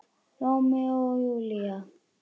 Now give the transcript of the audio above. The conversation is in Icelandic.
Rómeó og Júlía!